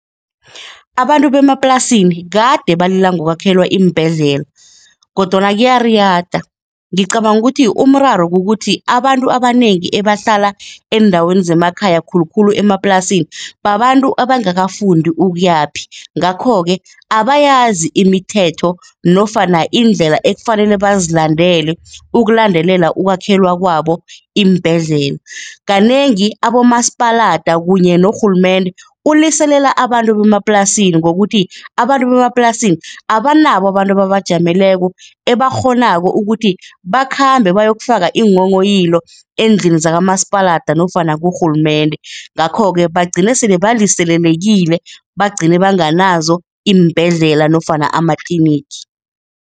Abantu bemaplasini kade balila ngokwakhelwa iimbhedlela kodwana kuyariyada. Ngicabanga ukuthi umraro kukuthi abantu abanengi ebahlala eendaweni zemakhaya khulukhulu emaplasini babantu abangakafundi ukuyaphi ngakho-ke abayazi imithetho nofana indlela ekufanele bazilandele ukulandelela ukwakhelwa kwabo iimbhedlela. Kanengi abomasipalada kunye norhulumende, uliselela abantu bemaplasini ngokuthi abantu bemaplasini abanabo abantu ababajameleko, ebakghonako ukuthi bakhambe bayokufaka iinghonghoyilo endlini zakamasipalata nofana kurhulumende. Ngakho-ke bagcine sele baliselelekile, bagcine banganazo iimbhedlela nofana amatlinigi.